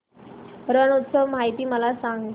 रण उत्सव माहिती मला सांग